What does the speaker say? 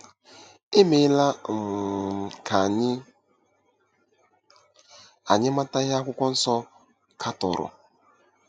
E meela um ka anyị anyị mata ihe Akwụkwọ Nsọ katọrọ.